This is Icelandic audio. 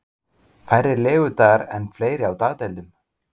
Færri legudagar en fleiri á dagdeildum